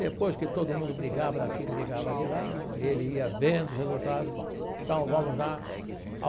Depois que todo mundo brigava daqui, brigava de lá, ele ia vendo os resultados, bom, então vamos lá ao.